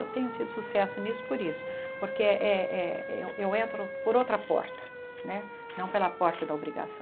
Eu tenho tido sucesso nisso por isso, porque eh eh eh eu eu entro por outra porta né, não pela porta da obrigação.